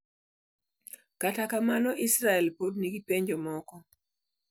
Kata kamano, Israel pod nigi penjo moko.